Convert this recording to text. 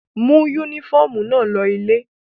Mú únífọ́ọ́mù náà lọ ilé!